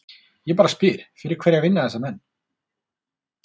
Ég bara spyr, fyrir hverja vinna þessir menn?